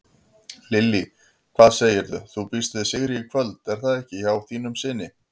Lillý: Hvað segirðu, þú býst við sigri í kvöld er það ekki hjá þínum syni?